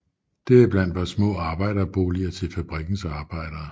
Deriblandt var små arbejderboliger til fabrikkens arbejdere